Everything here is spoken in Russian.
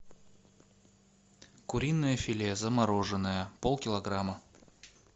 куриное филе замороженное полкилограмма